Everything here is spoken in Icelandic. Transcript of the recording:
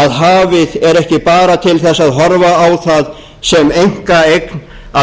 að hafið er ekki bara til þess að horfa á það sem einkaeign að